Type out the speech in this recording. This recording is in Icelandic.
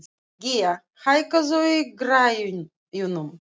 Gía, hækkaðu í græjunum.